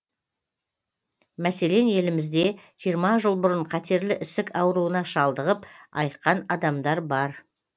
мәселен елімізде жиырма жыл бұрын қатерлі ісік ауруына шалдығып айыққан адамдар бар